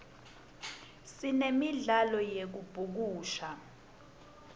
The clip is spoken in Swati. sinemdlalo yekubhukusha